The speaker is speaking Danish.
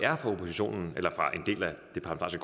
oppositionen eller rettere